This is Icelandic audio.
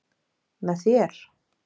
Með þér?